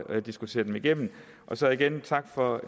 diskutere dem igennem og så igen tak for